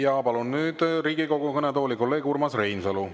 Ja palun nüüd Riigikogu kõnetooli kolleeg Urmas Reinsalu.